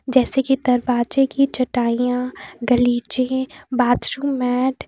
जैसे की दरवाजे चटाइयां गलीचे बाथरूम मैट --